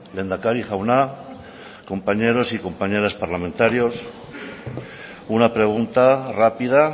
lehendakari jauna compañeros y compañeras parlamentarios una pregunta rápida